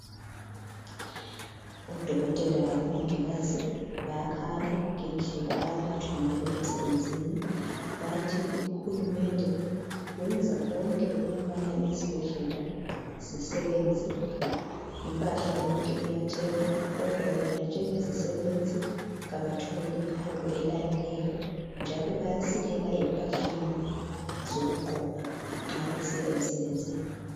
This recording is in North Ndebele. Odokothela labomongikazi bayakhala ngendlela abaphathwa ngayo emsebenzini. Bathi uHulumende wenza konke ukubana izibhedlela zisebenze, impahla yonke iyathengwa kodwa bona njengezisebenzi kabatholi iholo elaneleyo njalo bayasilela emphahleni zokugqoka mabesiya emsebenzini.